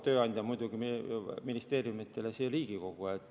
Tööandja on ministeeriumidele muidugi Riigikogu.